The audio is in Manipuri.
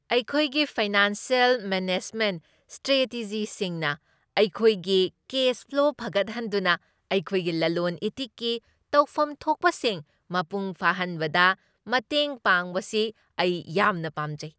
ꯑꯩꯈꯣꯏꯒꯤ ꯐꯥꯏꯅꯥꯟꯁꯤꯌꯦꯜ ꯃꯦꯅꯦꯖꯃꯦꯟꯠ ꯁ꯭ꯇ꯭ꯔꯦꯇꯦꯖꯤꯁꯤꯡꯅ ꯑꯩꯈꯣꯏꯒꯤ ꯀꯦꯁ ꯐ꯭ꯂꯣ ꯐꯒꯠꯍꯟꯗꯨꯅ ꯑꯩꯈꯣꯏꯒꯤ ꯂꯂꯣꯟ ꯏꯇꯤꯛꯀꯤ ꯇꯧꯐꯝꯊꯣꯛꯄꯁꯤꯡ ꯃꯄꯨꯡ ꯐꯥꯍꯟꯕꯗ ꯃꯇꯦꯡ ꯄꯥꯡꯕꯁꯤ ꯑꯩ ꯌꯥꯝꯅ ꯄꯥꯝꯖꯩ꯫